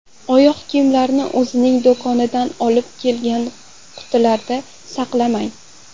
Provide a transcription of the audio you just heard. Oyoq kiyimlarni o‘zining do‘kondan olib kelingan qutilarida saqlamang.